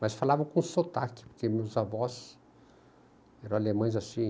Mas falavam com sotaque, porque meus avós eram alemães assim.